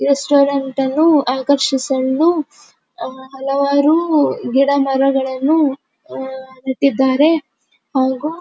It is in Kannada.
ರೆಸ್ಟೋರೆಂಟ್ ಅನ್ನು ಆಕರ್ಷಿಸಲು ಹಲವಾರು ಗಿಡಮರಗಳನ್ನು ಅಹ್ ನೆಟ್ಟಿದ್ದಾರೆ ಹಾಗು --